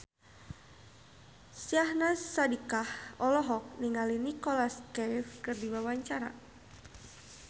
Syahnaz Sadiqah olohok ningali Nicholas Cafe keur diwawancara